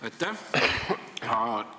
Aitäh!